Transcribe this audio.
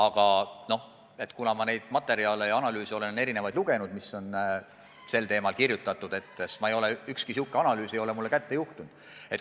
Aga ma olen sel teemal tehtud analüüse ja muid materjale lugenud, ükski selline analüüs ei ole mulle kätte juhtunud.